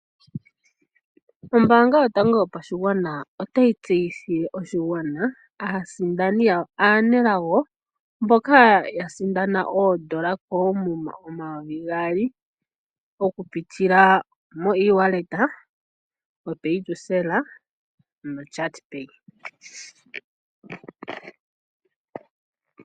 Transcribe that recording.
Ombaanga yotango yopashigwana otayi tseyithile oshigwana aasindani yawo aanelago mboka ya sindana oondola koomuma, omayovi gaali okupitila moewallet, opaytocell nochat pay.